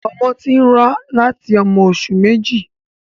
Ọmọ ti n rá láti ọmọ oṣù méjì.